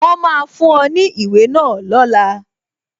Wọn máa fún ọ ní ìwé náà lọ́la